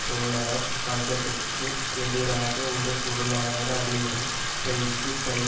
தொழிலாளர் வர்க்கத்துக்கு எதிராக ஒரு பொருளாதார அழிவுடன் கைக்கு கை